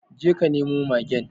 Je ka nemo magen